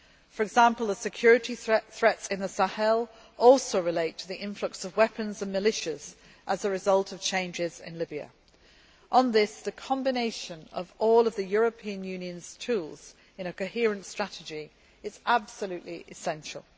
For example, the security threats in the Sahel also relate to the influx of weapons and militias as a result of changes in Libya. On this the combination of all of the European Union's tools in a coherent strategy is absolutely essential.